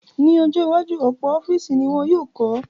Ní ọjọ́ iwájú, ọ̀pọ̀ ifásitì ni wọn yóò kọ́